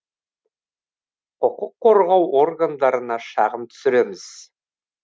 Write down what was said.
құқық қорғау органдарына шағым түсіреміз